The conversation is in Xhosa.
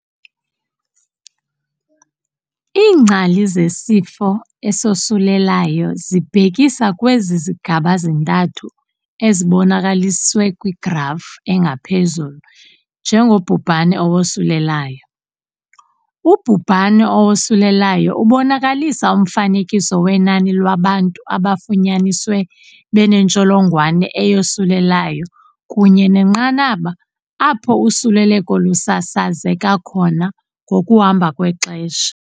Iingcali zesifo esosulelayo zibhekisa kwezi zigaba zintathu zibonakaliswe kwigrafu engaphezulu njengobhubhane owosulelayo. Ubhubhane owosulelayo ubonakalisa umfanekiso wenani lwabantu abafunyaniswe benentsholongwane eyosulelayo kunye nenqanaba apho usuleleko lusasazeka khona ngokuhamba kwexesha.